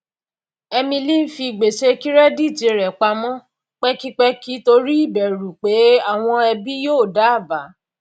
emily fi gbèsè kẹrẹdíìtì rẹ pamọ pẹkipẹki torí ìbẹrù pé àwọn ẹbí yóò da àbá